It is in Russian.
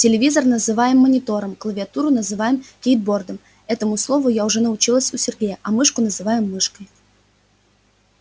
телевизор называем монитором клавиатуру называем кейбордом этому слову я уже научилась у сергея а мышку называем мышкой